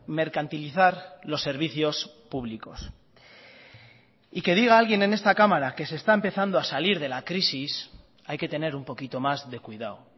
mercantilizar los servicios públicos y que diga alguien en esta cámara que se está empezando a salir de la crisis hay que tener un poquito más de cuidado